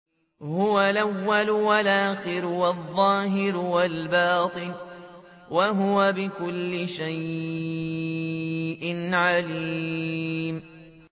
هُوَ الْأَوَّلُ وَالْآخِرُ وَالظَّاهِرُ وَالْبَاطِنُ ۖ وَهُوَ بِكُلِّ شَيْءٍ عَلِيمٌ